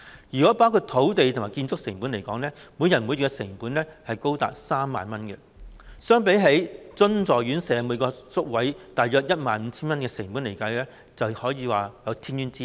如果包括土地和建築成本在內，每人每月的成本高達 30,000 元，相比起津助院舍每個宿位大約 15,000 元的成本而言，可說是有天淵之別。